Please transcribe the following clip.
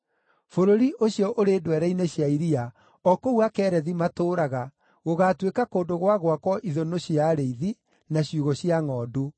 Bũrũri ũcio ũrĩ ndwere-inĩ cia iria, o kũu Akerethi matũũraga, gũgaatuĩka kũndũ gwa gwakwo ithũnũ cia arĩithi, na ciugũ cia ngʼondu.